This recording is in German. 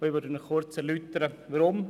Ich erläutere Ihnen hier kurz weshalb.